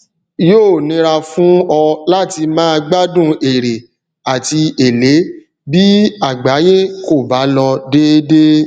yóò nira fún ọ láti máa gbádùn èrè àti èlé bí àgbáyé kò bá lọ déédéé